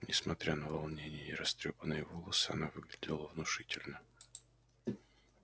несмотря на волнение и растрёпанные волосы она выглядела внушительно